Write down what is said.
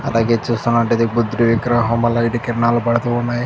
అలాగే చూస్తున్నట్లయితే బుద్ధుడి విగ్రహం వల్ల ఇటు కిరణాలు పడుతున్నాయి.